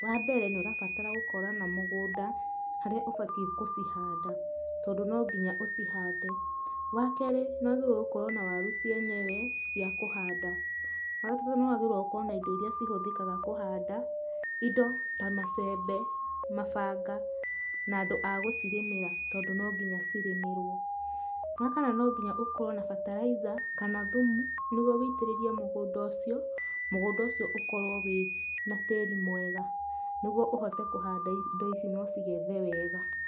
Wambere nĩũrabatara gũkorwo na mũgũnda, harĩa ũbati gũcihanda tondũ nonginya ũcihande ,wakerĩ nĩ gũkorwa na waru cienyewe cia kũhanda, wagatatũ nĩwagĩrĩirwe gũkorwo na indo irĩa cihũtĩkaga kũhanda, indo ta macembe ,mabanga na andũ agũcirĩmĩra tondũ nonginya cirĩmĩrwo ,wakana nonginya ũkorwo na bataraitha kana thumu nĩguo wĩtĩrĩrie mũgũnga ũcio, mũgũnda ũcio ũkorwo wĩna tĩri mwega nĩguo ũhote kũhanda indo ici nũcĩgethe wega.